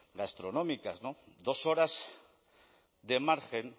gastronómicas dos horas de margen